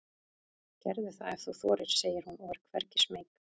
Gerðu það ef þú þorir, segir hún og er hvergi smeyk.